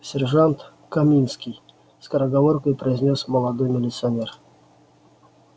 сержант каминский скороговоркой произнёс молодой милиционер